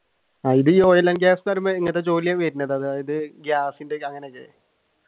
oil and gas പറയുമ്പോ എങ്ങനത്തെ ജോലിയാണ് വരുന്നത്